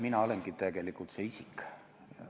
Mina olengi tegelikult see isik.